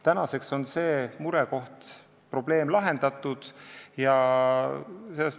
Tänaseks on see probleem lahendatud.